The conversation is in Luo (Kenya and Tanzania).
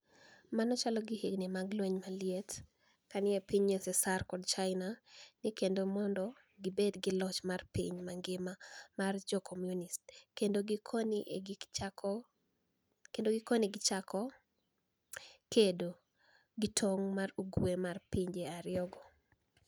Mano chalo gi hignii mag lweniy maliet kani e piniy USSR kod Chinia ni e kedo monido gibed gi loch mar piniy manigima mar jo Komuniist kenido gikoni e ni e gichako kedo e tonig ' ma yo ugwe mar pinije ariyogo.